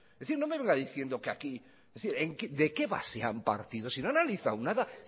es decir no venga diciendo que aquí de qué base han partido si no han analizado nada